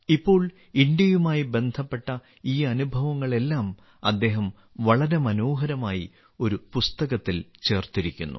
ഇപ്പോൾ ഇന്ത്യയുമായി ബന്ധപ്പെട്ട ഈ അനുഭവങ്ങളെല്ലാം അദ്ദേഹം വളരെ മനോഹരമായി ഒരു പുസ്തകത്തിൽ ചേർത്തിരിക്കുന്നു